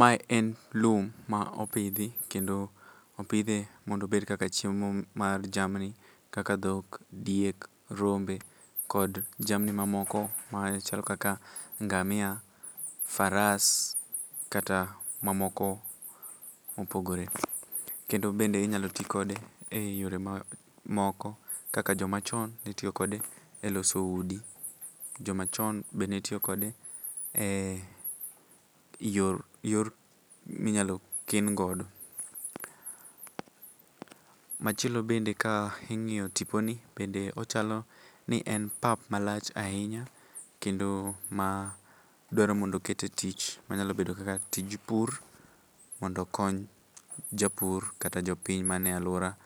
Mae en lum ma opidhi kendo opidhe mondo obed kaka chiemo mar jamni kaka dhok, diek , rombe kod jamni mamoko machalo kaka ngamia, faras kata mamoko mopogore. Kendo bende inyalo ti kode eyore moko kaka jomachon ne tiyo kode eloso udi. Joma chon be ne tiyo kode e yor minyalo ken godo. Machielo bende ka ing'iyo tiponi, bende ochalo ni en pap malach ahinya kendo ma dwaro mondo oket e tich manyalo bedo kaka tij pur mondo okony japur kata jopiny man e aluora